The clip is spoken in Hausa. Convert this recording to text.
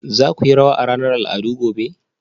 za ku yi rawa a ranar al'adu gobe